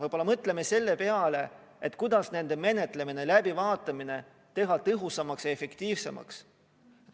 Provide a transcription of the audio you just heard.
Võib-olla mõtleme selle peale, kuidas nende menetlemine, läbivaatamine teha tõhusamaks ja efektiivsemaks.